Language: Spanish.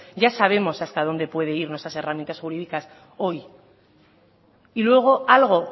ya sabemos hasta dónde pueden ir nuestras herramientas jurídicas hoy y luego algo